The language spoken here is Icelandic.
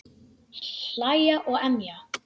Hlæja og emja.